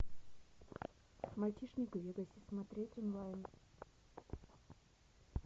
мальчишник в вегасе смотреть онлайн